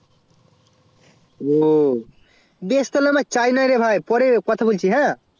ও বেশ তাহলে আমার charge নাই রে ভাই পরে কথা বলছি